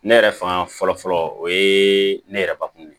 Ne yɛrɛ fanga fɔlɔ fɔlɔ o ye ne yɛrɛ bakun ye